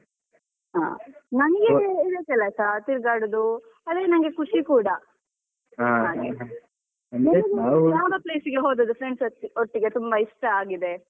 ಹಾ ನಂಗೆ ಒಂದೊಂದ್ ಸಲಸ ತಿರ್ಗಾಡುದು ಅದೇ ನಂಗೆ ಖುಷಿ ಕೂಡ ಹಾಗೆ ಮತ್ತೆ ಯಾವ್ದು place ಗೆ ಹೋದದ್ದು friends ಒಟ್ಟಿಗೆ ಹೋದದ್ದು ತುಂಬಾ ಇಷ್ಟ ಆಗಿದೆ.